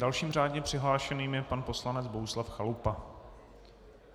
Dalším řádně přihlášeným je pan poslanec Bohuslav Chalupa.